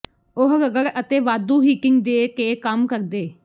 ਉਹ ਰਗੜ ਅਤੇ ਵਾਧੂ ਹੀਟਿੰਗ ਦੇ ਕੇ ਕੰਮ ਕਰਦੇ